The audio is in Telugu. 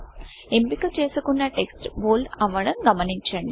ఎంపిక చేసుకు న్న టెక్స్ట్ బోల్డ్ అవ్వడం గమనించండి